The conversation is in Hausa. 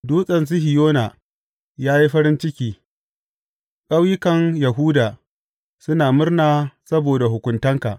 Dutsen Sihiyona ya yi farin ciki, ƙauyukan Yahuda suna murna saboda hukuntanka.